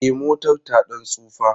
E, motar ta ɗan tsufa.